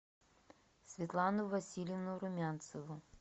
светлану васильевну румянцеву